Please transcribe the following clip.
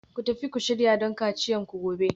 Ku tafi ku shirya don kaciyarku gobe